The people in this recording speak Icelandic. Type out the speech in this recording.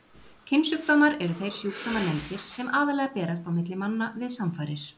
Kynsjúkdómar eru þeir sjúkdómar nefndir sem aðallega berast á milli manna við samfarir.